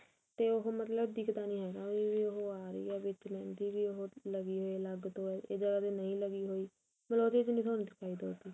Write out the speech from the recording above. ਤੇ ਉਹ ਮਤਲਬ ਦਿਖਦਾ ਨੀ ਹੈਗਾ ਬੀ ਉਹ ਆ ਰਹੀ ਏ ਵੀ ਲੱਗੀ ਹੋਈ ਏ ਅਲੱਗ ਤੋਂ ਇਹ ਜਗ੍ਹਾ ਤੇ ਨਹੀਂ ਲੱਗੀ ਹੋਈ ਫੇਰ ਉਹਦੇ ਚ ਨੀ